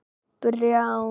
Brjánn